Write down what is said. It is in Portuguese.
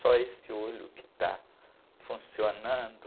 Só esse olho que está funcionando.